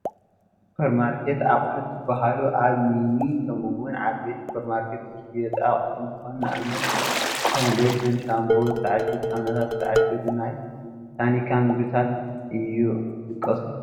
ሱፐርማርኬት ኣቕሑት ዝባሃሉ ኣብ ሚኒ ከምኡ ውን ዓበይቲ ሱፐርማርኬት ዝሽየጡ ኣቕሑት እንትኾኑ ንኣብነት ከም ሎሽን፣ ሻምፓ፣ ዝተዓሸጉ ሳሙናታን ዝተዓሸጉ ናይ ታኒካ ምግብታትን ይጥቀሱ፡፡